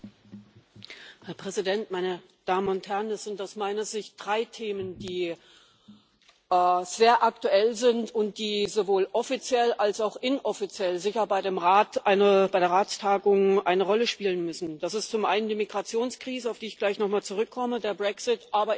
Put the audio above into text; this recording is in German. Herr Präsident, meine Damen und Herren! Es sind aus meiner Sicht drei Themen, die sehr aktuell sind und die sowohl offiziell als auch inoffiziell bei der Ratstagung sicher eine Rolle spielen müssen Das ist zum einen die Migrationskrise, auf die ich gleich nochmal zurückkomme, der Brexit, aber eben auch die